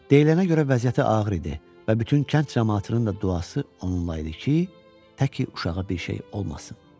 Deyilənə görə vəziyyəti ağır idi və bütün kənd camaatının da duası onunla idi ki, təki uşağa bir şey olmasın.